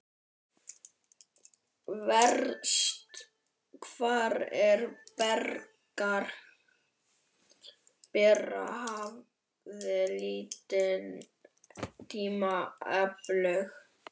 Verst hvað frúin Bera hafði lítinn tíma aflögu.